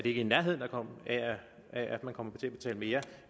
ikke i nærheden af at man kommer til at betale mere